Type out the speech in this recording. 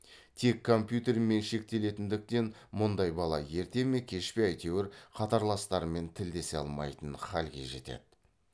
тек компьютермен шектелетіндіктен мұндай бала ерте ме кеш пе әйтеуір қатарластарымен тілдесе алмайтын халге жетеді